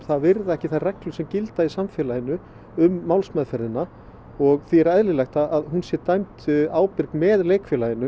virða ekki þær reglur sem gilda í samfélaginu um málsmeðferðina og því er eðlilegt að hún sé dæmd ábyrg með leikfélaginu